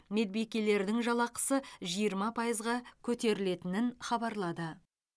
медбикелердің жалақысы жиырма пайызға көтерілетінін хабарлады